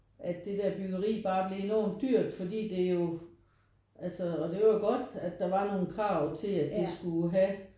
At det der byggeri bare blev enormt dyrt fordi det jo altså og det er jo godt at der var nogle krav til at det skulle have